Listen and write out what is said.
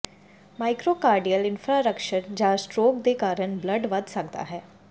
myocardial infarction ਜਾਂ stroke ਦੇ ਕਾਰਨ ਬਲੱਡ ਵਧ ਸਕਦਾ ਹੈ